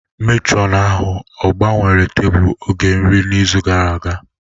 Matron ahụ ọ gbanwere tebụl oge nri n'izu gara aga?